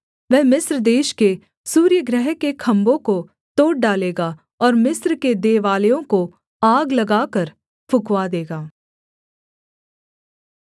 वह मिस्र देश के सूर्यगृह के खम्भों को तोड़ डालेगा और मिस्र के देवालयों को आग लगाकर फुँकवा देगा